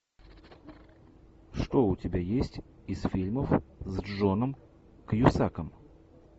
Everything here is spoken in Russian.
что у тебя есть из фильмов с джоном кьюсаком